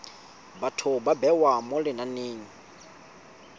batho ba bewa mo lenaneng